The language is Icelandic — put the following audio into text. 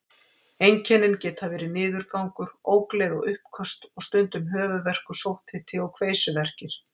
Einkennin geta verið niðurgangur, ógleði og uppköst og stundum höfuðverkur, sótthiti og kveisuverkir.